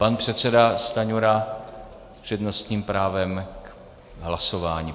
Pan předseda Stanjura s přednostním právem k hlasování.